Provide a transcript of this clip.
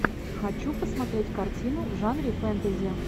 хочу посмотреть картину в жанре фэнтези